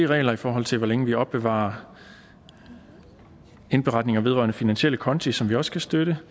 regler i forhold til hvor længe vi opbevarer indberetninger vedrørende finansielle konti som vi også kan støtte